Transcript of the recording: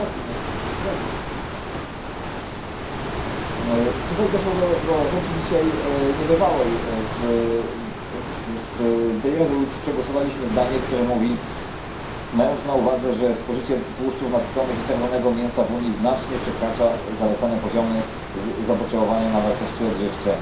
Doszło tutaj dzisiaj do rzeczy niebywałej w tej rezolucji przegłosowaliśmy zdanie, które mówi mając na uwadze, że spożycie tłuszczów nasyconych i czerwonego mięsa w Unii znacznie przekracza zalecane poziomy zapotrzebowania na wartości odżywcze...